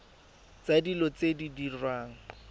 tsa dilo tse di diriwang